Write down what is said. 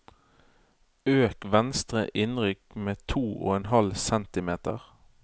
Øk venstre innrykk med to og en halv centimeter